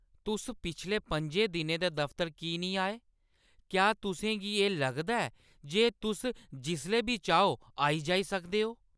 तुस पिछले पंजे दिनें दे दफतर की निं आए ? क्या तुसें गी एह् लगदा ऐ जे तुस जिसलै बी चाहो आई-जाई सकदे ओ?